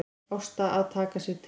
Ásta að taka sig til.